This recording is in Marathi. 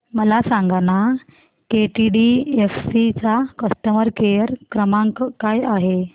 मला सांगाना केटीडीएफसी चा कस्टमर केअर क्रमांक काय आहे